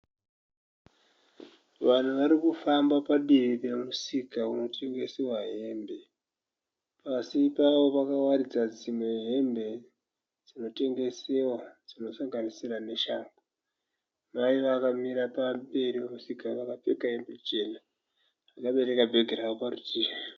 Vanhu varikufamba padivi pemusika unotengesewa hembe. Pasi pakawaridzwa dzimwe hembe dzinotengesewa dzinosanganisira neshangu. Mai vakamira pamberi pemusika vakapfeka hembe chena vakabereka bhegi ravo parutivi.